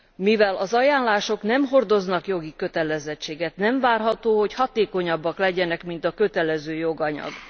Mivel az ajánlások nem hordoznak jogi kötelezettséget, nem várható, hogy hatékonyabbak legyenek, mint a kötelező joganyag.